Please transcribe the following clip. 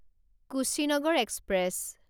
Kushinagar express